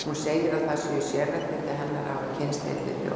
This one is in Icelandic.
Hún segir að það séu sérréttindi hennar að hafa kynnst heilli þjóð.